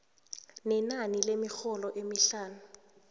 nenani lemirholo emihlanu